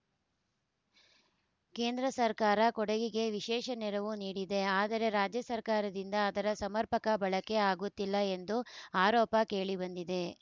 ಕೇಂದ್ರ ಸರ್ಕಾರ ಕೊಡಗಿಗೆ ವಿಶೇಷ ನೆರವು ನೀಡಿದೆ ಆದರೆ ರಾಜ್ಯ ಸರ್ಕಾರದಿಂದ ಅದರ ಸಮರ್ಪಕ ಬಳಕೆ ಆಗುತ್ತಿಲ್ಲ ಎಂಬ ಆರೋಪ ಕೇಳಿಬಂದಿದೆ